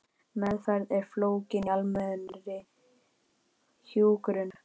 Meðferð er fólgin í almennri hjúkrun.